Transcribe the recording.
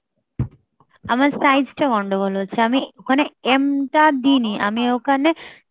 আমার size টা গন্ডগোল হচ্ছে আমি ওখানে M তা দিইনি আমি ওখানে